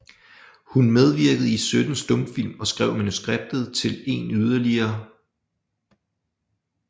Hun medvirkede i 17 stumfilm og skrev manuskriptet til en yderligere